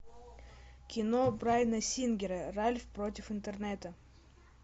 кино брайана сингера ральф против интернета